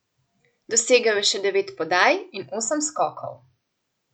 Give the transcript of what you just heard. Dosegel je še devet podaj in osem skokov.